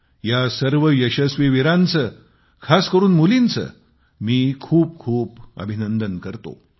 या सर्व यशस्वी वीरांचे खास करून मुलींचे मी खूप खूप हार्दिक अभिनंदन करतो